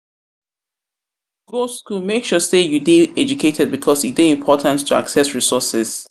make sure say you de educated because e de important to access resources